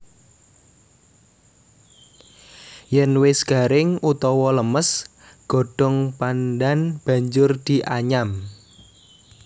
Yen wis garing utawa lemes godhong pandhan banjur dianyam